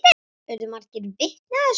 Urðu margir vitni að þessu.